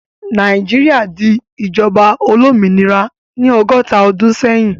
Nàìjíríà di ìjọba olómìnira ní ọgọ́ta ọdún sẹ́yìn.